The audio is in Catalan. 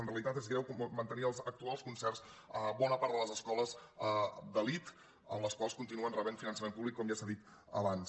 en realitat és greu mantenir els actuals concerts a bona part de les escoles d’elit les quals continuen rebent finançament públic com ja s’ha dit abans